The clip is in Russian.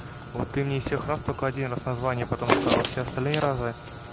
вот ты мне из всех раз только один раз название потом сказала а все остальные разы